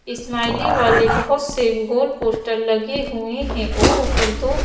smiley वाले बहुत से गोल पोस्टर लगे हुए हैं और ऊपर दो--